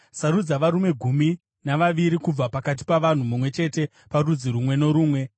“Sarudza varume gumi navaviri kubva pakati pavanhu, mumwe chete parudzi rumwe norumwe,